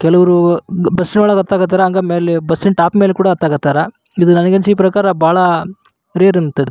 ಕೆಲವರು ಬುಸ್ಸಿನ್ ಒಳಗ್ ಹತ್ತಕ್ ಹತಾರ ಹಂಗ ಮೇಲೆ ಬಸ್ಸಿನ್ ಟಾಪ್ ಮೈಲ್ ಕೂಡ ಹತ್ತಕ್ ಹತಾರ ನಂಗ್ ಅನ್ಸಿದ್ ಮಟ್ಟಿಗ್ ಬಹಳ ರೇರ್ ಅನ್ಸತ್